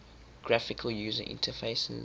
graphical user interfaces